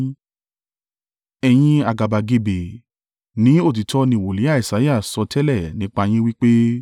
Ẹ̀yin àgàbàgebè, ní òtítọ́ ni Wòlíì Isaiah sọtẹ́lẹ̀ nípa yín wí pé: